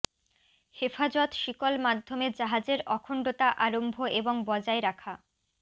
হেফাজত শিকল মাধ্যমে জাহাজের অখণ্ডতা আরম্ভ এবং বজায় রাখা